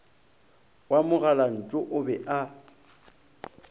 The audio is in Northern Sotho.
wa mogalantšu o be a